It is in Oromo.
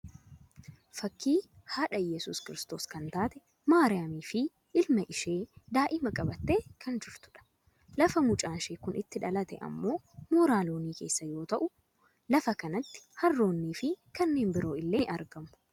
Fakkii haadha Iyeesuus kiristoos kan taate maariuaamii fi ilma ishee daa'ima qabattee kan jirtudha. Lafa mucaan ishee Kun itti dhalate ammoo mooraa loonii keessa yoo ta'u lafa kanatti haarroonni fi kanneen biroo illee ni argamu.